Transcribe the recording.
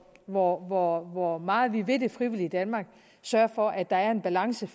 hvor hvor meget vi vil det frivillige danmark sørger for at der er en balance